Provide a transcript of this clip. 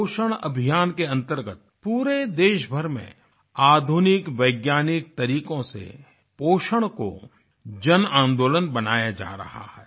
पोषण अभियान के अंतर्गत पूरे देशभर में आधुनिक वैज्ञानिक तरीकों से पोषण को जनआन्दोलन बनाया जा रहा है